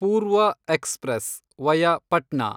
ಪೂರ್ವ express (via Patna)